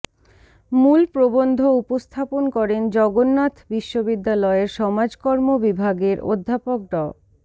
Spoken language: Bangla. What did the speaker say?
মূল প্রবন্ধ উপস্থাপন করেন জগন্নাথ বিশ্ববিদ্যালয়ের সমাজকর্ম বিভাগের অধ্যাপক ড